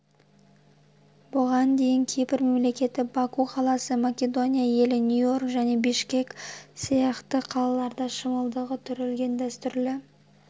бұған дейін кипр мемлекеті баку қаласы македония елі нью-йорк және бішкек сияқты қалаларда шымылдығы түрілген дәстүрлі